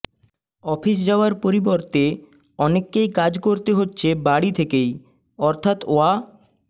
office যাওয়ার পরিবর্তে অনেককেই কাজ করতে হচ্ছে বাড়ি থেকেই অর্থাৎ ওয়া